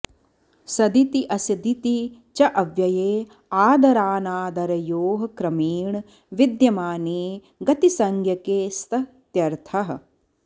सदिति असदिति च अव्यये आदराऽनादरयोः क्रमेण विद्यमाने गतिसंज्ञके स्त इत्यर्थः